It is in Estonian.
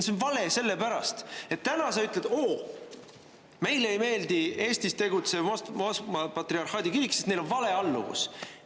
See on vale sellepärast, et täna sa ütled: "Oo, meile ei meeldi Eestis tegutsev Moskva patriarhaadi kirik, sest neil on vale alluvus!